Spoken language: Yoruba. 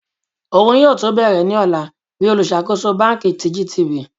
Oun yoo tun bẹrẹ ni ọla bi oluṣakoso banki ti GT.